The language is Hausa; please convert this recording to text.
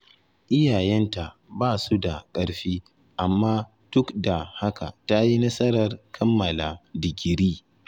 Iyayenta ba su da ƙarfi, amma duk da haka ta yi nasarar kammala digiri.